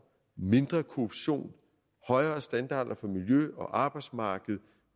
mindre korruption højere standarder for miljø og arbejdsmarked